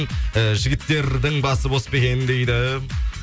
э жігіттердің басы бос па екен дейді